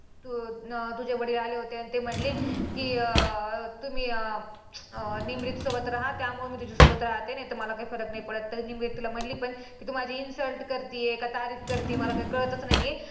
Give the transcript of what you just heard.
तू तुझे वडील आले होते आणि ती म्हणले की अं तुम्ही अं निमरीतसोबत रहा त्यामुळे मी तुझ्यासोबत राहते नाहीतर मला काही फरक नाही तरी निमरीत तिला म्हंटली पण तू माझी insult करतेय का तारीफ करते मला काही कळतंच नाही आहे.